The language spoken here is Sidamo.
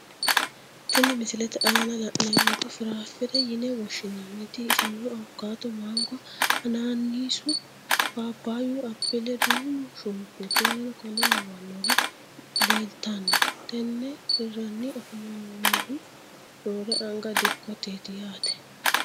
Tini misilete aana la`nemoti firafire yine woshinaniti iseno awukato, mango, hanaanisu, papaayu apile duumu shunkurti w.k.l leeltamo tene hirani afamanihuno roore anga dikoteeti yaate.